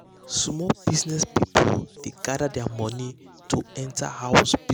small business people dey gather their money to enter house business together.